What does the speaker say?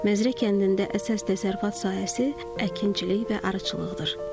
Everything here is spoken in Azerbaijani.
Məzrə kəndində əsas təsərrüfat sahəsi əkinçilik və arıçılıqdır.